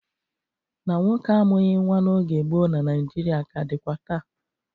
Na nwoke amughị nwa n'oge gboo na Naịjirịa ka dịkwa taa.